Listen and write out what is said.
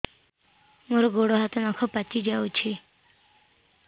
ମୋର ଗୋଡ଼ ହାତ ନଖ ପାଚି ଯାଉଛି